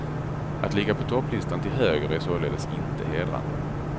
Att ligga på topplistan till höger är således inte hedrande.